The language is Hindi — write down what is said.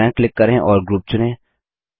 दायाँ क्लिक करें और ग्रुप चुनें